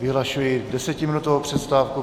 Vyhlašuji desetiminutovou přestávku.